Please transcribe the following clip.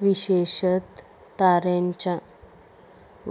विशेषतः ताऱ्यांच्या